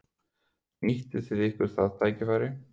Nýttu þið ykkur það tækifæri?